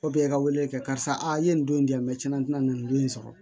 O bɛ i ka weleli kɛ karisa a ye nin don in di yan tiɲɛna tina nin don in sɔrɔ